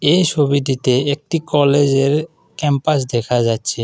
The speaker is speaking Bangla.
এই ছবিটিতে একটি কলেজ -এর ক্যাম্পাস দেখা যাচ্ছে।